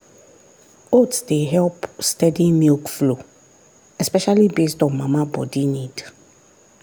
oats dey help steady milk flow especially based on mama body need.